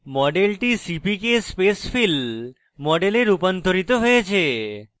মডেলটি cpk spacefill model রূপান্তরিত হয়েছে